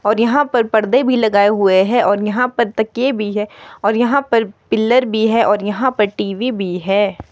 और यहां पर पर्दे भी लगाए हुए हैं और यहां पर तकिए भी है और यहां पर पिलर भी है और यहां पर टी_वी भी है।